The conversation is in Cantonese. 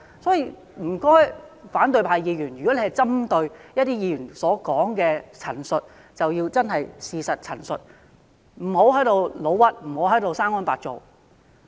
所以，請反對派議員如果針對其他議員所作的陳述，便真的要針對事實陳述，不要誣衊及"生安白造"。